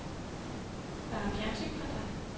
Der er fjernsyn for dig.